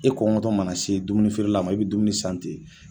E kɔngɔ tɔ mana se dumuni feerela ma i bɛ dumuni san ten.